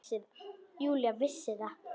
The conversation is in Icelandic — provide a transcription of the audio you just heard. Júlía vissi það.